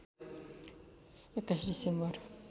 २१ December